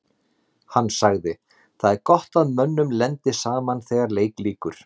Hann sagði: Það er gott að mönnum lendi saman þegar leik lýkur.